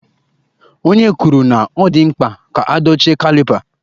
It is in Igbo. Onye kwuru na ọ dị mkpa ka a dochie caliper